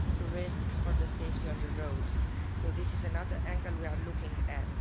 risk for the safety on the roads. So this is another angle we are looking at.